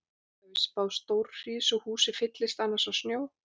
Það er víst spáð stórhríð svo húsið fyllist annars af snjó.